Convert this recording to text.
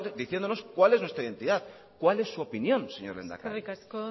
diciéndonos cuál es nuestra identidad cuál es su opinión señor lehendakari eskerrik asko